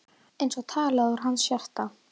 Eins og talað úr hans hjarta.